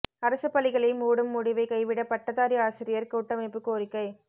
அரசு பள்ளிகளை மூடும் முடிவை கைவிட பட்டதாரி ஆசிரியர் கூட்டமைப்பு கோரிக்கை